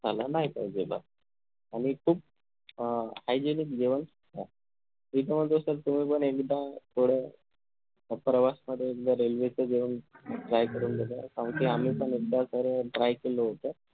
झाला नाही पाहिजेल आणि खूप अं hygienic जेवण असणार त्याच्यामध्ये sir तुम्ही पण एकदा थोडं प्रवास मध्ये एकदा railway च जेवण try करून बघा अन ते आम्ही पण एकदा तर अं try केलं होत